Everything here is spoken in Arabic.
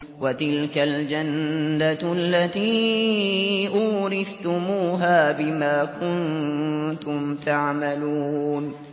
وَتِلْكَ الْجَنَّةُ الَّتِي أُورِثْتُمُوهَا بِمَا كُنتُمْ تَعْمَلُونَ